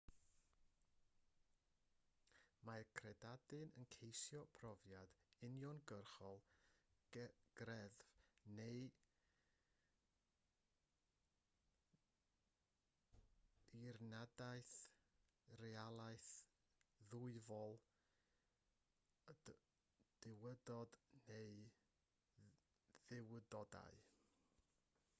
mae'r credadun yn ceisio profiad uniongyrchol greddf neu ddirnadaeth o realaeth ddwyfol/y duwdod neu dduwdodau